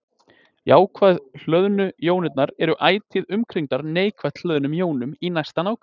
jákvætt hlöðnu jónirnar eru ætíð umkringdar neikvætt hlöðnum jónum í næsta nágrenni